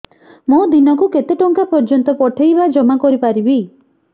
ମୁ ଦିନକୁ କେତେ ଟଙ୍କା ପର୍ଯ୍ୟନ୍ତ ପଠେଇ ବା ଜମା କରି ପାରିବି